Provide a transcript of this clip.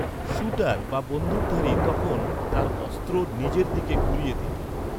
Shooter বা বন্দুকধারী তখন তার অস্ত্র নিজের দিকে ঘুরিয়ে দিত।